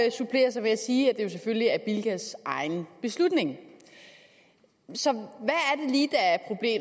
og supplerer så med at sige at det jo selvfølgelig er bilkas egen beslutning så